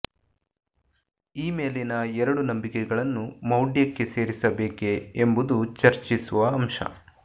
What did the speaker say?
ಈ ಮೇಲಿನ ಎರಡು ನಂಬಿಕೆಗಳನ್ನು ಮೌಢ್ಯಕ್ಕೆ ಸೇರಿಸಬೇಕೆ ಎಂಬುದು ಚರ್ಚಿಸುವ ಅಂಶ